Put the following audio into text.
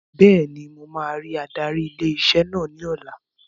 Bẹ́ẹ̀ni, mo máa rí adarí ilé iṣẹ́ náà ní ọ̀la